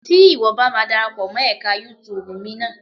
Tí ìwọ bá ma darapọ̀ mọ́ ẹka YouTube mi ná.